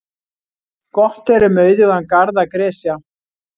Gott er um auðugan garð að gresja.